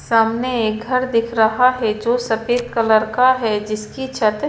सामने एक घर दिख रहा है जो सफेद कलर का है जिसकी छत--